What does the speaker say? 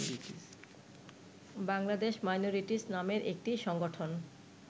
Bangladesh minorities নামের একটি সংগঠন